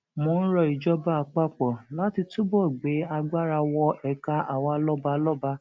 mo ń ro ìjọba àpapọ láti túbọ gbé agbára wọ ẹka àwa lọbalọba